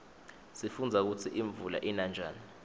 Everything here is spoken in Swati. sifundza kutsi imvula ina njani